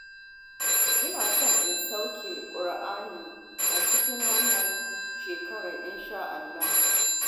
Ina so na sauke Ƙur'ani a cikin wannan shekarar insha'Allah